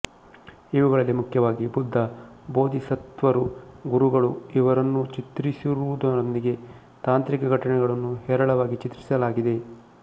ಇವುಗಳಲ್ಲಿ ಮುಖ್ಯವಾಗಿ ಬುದ್ಧ ಬೋಧಿಸತ್ತ್ವರು ಗುರುಗಳುಇವರನ್ನು ಚಿತ್ರಿಸಿರುವುದರೊಂದಿಗೆ ತಾಂತ್ರಿಕ ಘಟನೆಗಳನ್ನು ಹೇರಳವಾಗಿ ಚಿತ್ರಿಸಲಾಗಿದೆ